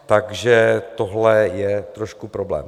Takže tohle je trošku problém.